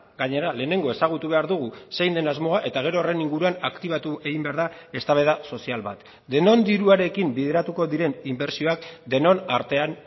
gainera lehenengo ezagutu behar dugu zein den asmoa eta gero horren inguruan aktibatu egin behar da eztabaida sozial bat denon diruarekin bideratuko diren inbertsioak denon artean